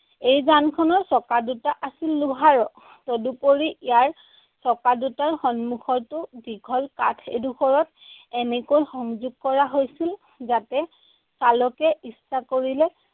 এই যানখনৰ চকা দুটা আছিল লোহাৰৰ। তদুপৰি ইয়াৰ চকা দুটাৰ সন্মুখতো দীঘল কাঠ এডোখৰত এনেকৈ সংযোগ কৰা হৈছিল যাতে চালকে ইচ্ছা কৰিলে